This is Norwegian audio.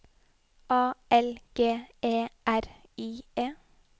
A L G E R I E